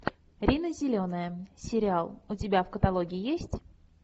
рина зеленая сериал у тебя в каталоге есть